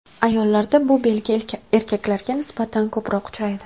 Ayollarda bu belgi erkaklarga nisbatan ko‘proq uchraydi.